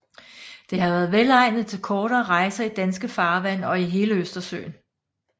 Det har været velegnet til kortere rejser i danske farvande og i hele Østersøen